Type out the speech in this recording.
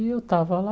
E eu tava lá.